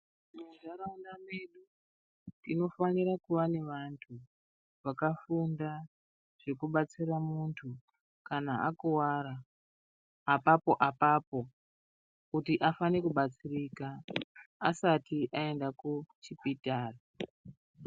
Muntharqunda medu tinofanira kuve nevanthu vakafunda zvekubatsira munthu kana akuwara apapo apapo kuti afane kubatsirika asati aenda kuchipitari.